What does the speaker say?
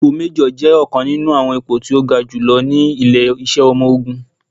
Ipò méjọ̀ jẹ́ ọ̀kan nínú àwọn ipò tí ó ga ní ilé-iṣẹ́ ọmọ ológun